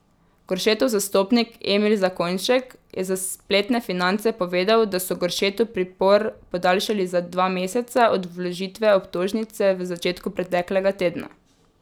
Goršetov zastopnik Emil Zakonjšek je za spletne Finance povedal, da so Goršetu pripor podaljšali za dva meseca od vložitve obtožnice v začetku preteklega tedna.